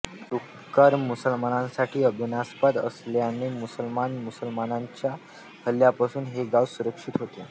डुक्कर मुसलमानांसाठी अभिमानास्पद असल्याने मुसलमान मुसलमानांच्या हल्ल्यापासून हे गाव संरक्षित होते